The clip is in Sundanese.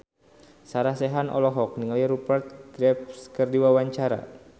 Sarah Sechan olohok ningali Rupert Graves keur diwawancara